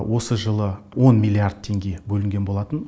осы жылы он миллиард теңге бөлінген болатын